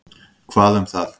Hvað um það?